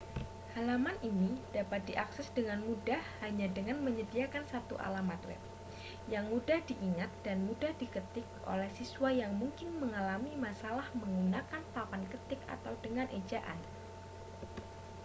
halaman ini dapat diakses dengan mudah hanya dengan menyediakan satu alamat web yang mudah diingat dan mudah diketik oleh siswa yang mungkin mengalami masalah menggunakan papan ketik atau dengan ejaan